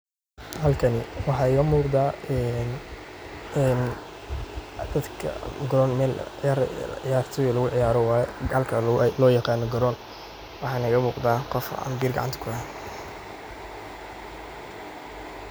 Halkani waxa iga muqatah ee dada karon ciyaartoh meel lagu ciyaaroh wayo kalga lo yaqanoh karoon waxa iga muqdah Qoof ambiir kacanta kuhaye.